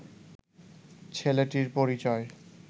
ছেলেটির পরিচয়